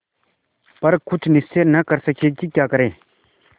पर कुछ निश्चय न कर सके कि क्या करें